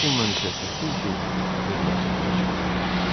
Bu pulla isə çətin ki, öz məqsədinə çata biləydi.